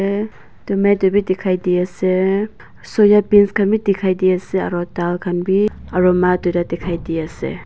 eh tomato b dikhai d ase soya beans khan b dikhai d ase aro dal khan b aro ma duita dikhai di ase.